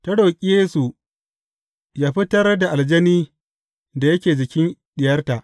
Ta roƙi Yesu yă fitar da aljani da yake jikin diyarta.